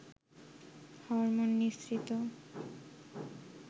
hormone নিঃসৃত